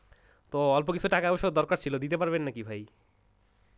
তো অল্প কিছু টাকা-পয়সার দরকার ছিল দিতে পারবেন নাকি ভাই?